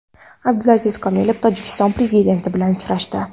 Abdulaziz Komilov Tojikiston prezidenti bilan uchrashdi.